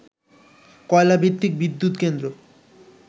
কয়লা ভিত্তিক বিদ্যুৎ কেন্দ্র